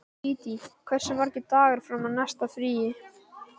Dídí, hversu margir dagar fram að næsta fríi?